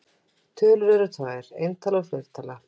Tölur eru tvær: eintala og fleirtala.